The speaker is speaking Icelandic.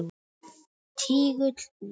Tígull út.